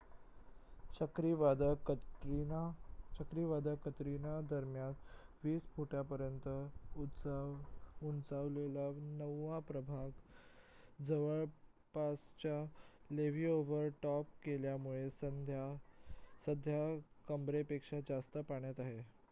चक्रीवादळ कतरिना दरम्यान 20 फूटांपर्यंत उंचावलेला नववा प्रभाग जवळपासचे लेव्ही ओव्हर टॉप केल्यामुळे सध्या कंबरेपेक्षा जास्त पाण्यात आहे